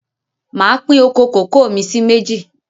Máa pín oko kòkó mi sì méjì